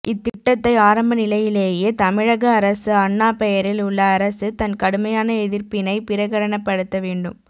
இத்திட்டத்தை ஆரம்ப நிலையிலேயே தமிழக அரசு அண்ணா பெயரில் உள்ள அரசு தன் கடுமையான எதிர்ப்பினைப் பிரகடனப்படுத்த வேண்டும்